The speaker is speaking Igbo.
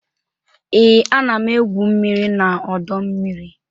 Ee, ana m egwu mmiri n'ọdọ mmiri.